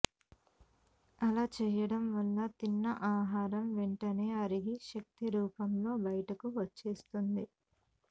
అలా చేయడం వల్ల తిన్న ఆహారం వెంటనే అరిగి శక్తి రూపంలో బయటకు వచ్చేస్తుంది